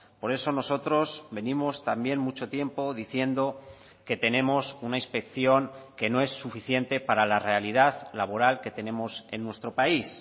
por eso nosotros venimos también mucho tiempo diciendo que tenemos una inspección que no es suficiente para la realidad laboral que tenemos en nuestro país